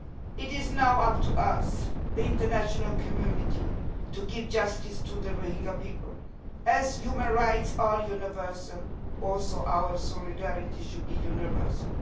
It is now up to us, the international community, to give justice to the Rohingya people. As human rights are universal, so also our solidarity should be universal.